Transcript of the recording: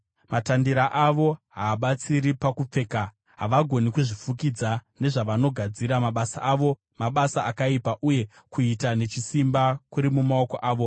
Matandira avo haabatsiri pakupfeka; havagoni kuzvifukidza nezvavanogadzira. Mabasa avo mabasa akaipa, uye kuita nechisimba kuri mumaoko avo.